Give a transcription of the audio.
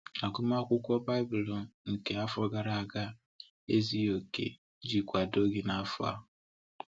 Agụmakwụkwọ Bible nke afọ gara aga ezughi oke iji kwado gị n’afọ a.